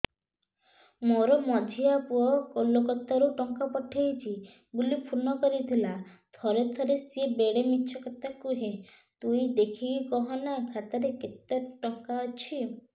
ମୋର ମଝିଆ ପୁଅ କୋଲକତା ରୁ ଟଙ୍କା ପଠେଇଚି ବୁଲି ଫୁନ କରିଥିଲା ଥରେ ଥରେ ସିଏ ବେଡେ ମିଛ କଥା କୁହେ ତୁଇ ଦେଖିକି କହନା ଖାତାରେ କେତ ଟଙ୍କା ଅଛି